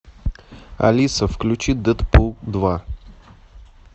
алиса включи дэдпул два